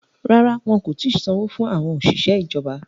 Rárá, wọn kò ti sanwó fún àwọn òṣìṣẹ́ ìjọba